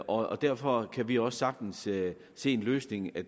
og derfor kan vi også sagtens se en løsning i at